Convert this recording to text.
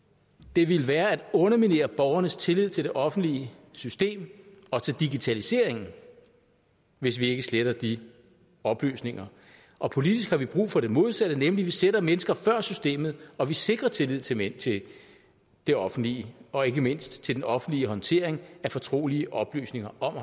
det vil være at underminere borgernes tillid til det offentlige system og til digitaliseringen hvis vi ikke sletter de oplysninger og politisk har vi brug for det modsatte nemlig at vi sætter mennesker før systemet og sikrer tillid tillid til det offentlige og ikke mindst til den offentlige håndtering af fortrolige oplysninger om